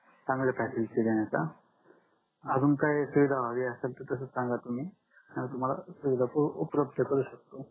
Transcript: चांगल फॅसिलिटी देण्याचा अजून काही सुविधा हवी असेल तस संगा तुम्ही तुम्हाला सुविधा उपलब्ध करू शकतो